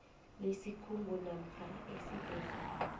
lesikhungo namkha esibhedlela